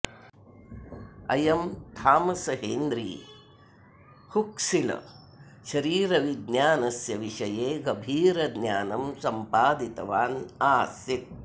अयं Thomas Henry Huxley शरीरविज्ञानस्य विषये गभीरं ज्ञानं सम्पादितवान् आसीत्